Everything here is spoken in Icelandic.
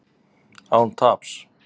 Án taps